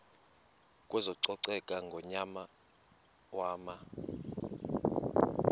kwezococeko ngonyaka wama